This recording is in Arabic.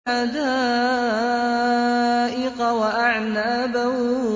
حَدَائِقَ وَأَعْنَابًا